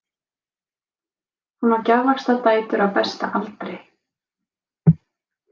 Hún á gjafvaxta dætur á besta aldri.